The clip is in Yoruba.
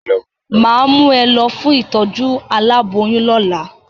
Mà á mú ẹ lọ fún ìtọ́jú aláboyún lólà